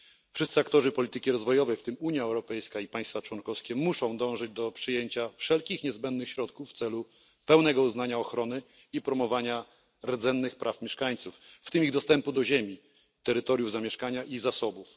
Wszyscy aktorzy polityki rozwojowej, w tym Unia Europejska i państwa członkowskie, muszą dążyć do przyjęcia wszelkich niezbędnych środków w celu pełnego uznania ochrony i promowania rdzennych praw mieszkańców, w tym ich dostępu do ziemi, terytoriów zamieszkania i zasobów.